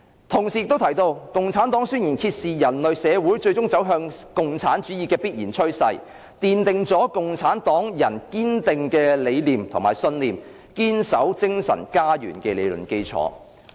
"同時，他亦提到："《共產黨宣言》揭示的人類社會最終走向共產主義的必然趨勢，奠定了共產黨人堅定理想信念、堅守精神家園的理論基礎。